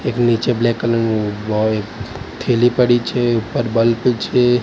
એક નીચે black colour નુ બોય એક થેલી પડી છે ઉપર બલ્બ છે.